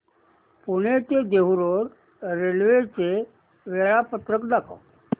पुणे ते Dehu road railway चे वेळापत्रक दाखव